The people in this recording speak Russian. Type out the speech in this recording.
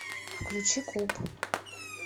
включи куп